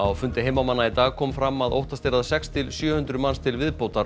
fundi heimamanna í dag kom fram að óttast er að sex til sjö hundruð manns til viðbótar